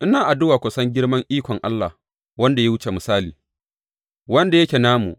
Ina addu’a ku san girman ikon Allah wanda ya wuce misali, wanda yake namu.